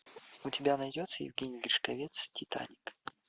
у тебя найдется евгений гришковец титаник